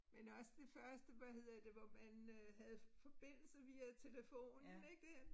Men også det første hvad hedder det hvor man øh havde forbindelse via telefonen ik dér